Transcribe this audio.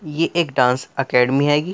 यह एक dance academy है --